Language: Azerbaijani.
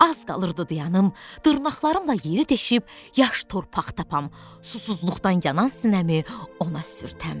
Az qalırdı dayanıb, dırnaqlarımla yeri deşib yaş torpaq tapam, susuzluqdan yanan sinəmi ona sürtəm.